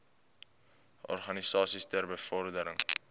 organisasies ter bevordering